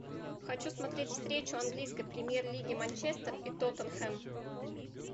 хочу смотреть встречу английской премьер лиги манчестер и тоттенхэм